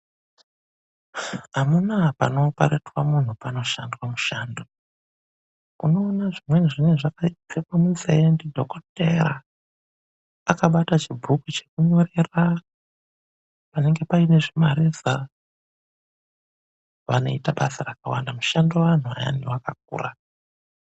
AMUNAA PANOOPARETWA MUNHU PANOSHANDWA MUSHANDO. UNOONA ZVIMWENI ZVINENGE ZVAKAPFEKWE MUNZEE NDIDHOKODHERA, AKABATA CHIBHUKU CHEKUNYORERA. PANENGE PAINE ZVIMA REZA, VANOITA BASA RAKAWANDA, MUSHANDIRO WEANHU AYA WAKAKURA.